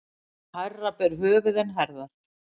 Hærra ber höfuð en herðar.